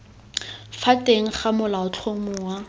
fa teng ga molaotlhomo wa